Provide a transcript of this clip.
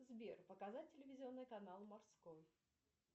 сбер показать телевизионный канал морской